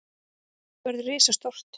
Þetta verður risastórt.